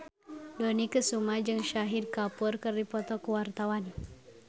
Dony Kesuma jeung Shahid Kapoor keur dipoto ku wartawan